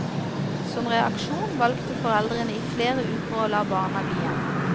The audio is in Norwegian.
Som reaksjon valgte foreldrene i flere uker å la barna bli hjemme.